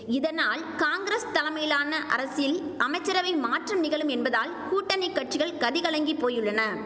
இதனால் காங்கிரஸ் தலைமையிலான அரசில் அமைச்சரவை மாற்றம் நிகழும் என்பதால் கூட்டணி கட்சிகள் கதி கலங்கி போயுள்ளன